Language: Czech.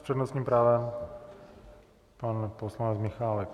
S přednostním právem pan poslanec Michálek.